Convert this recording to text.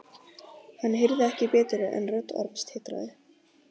Hann heyrði ekki betur en rödd Orms titraði.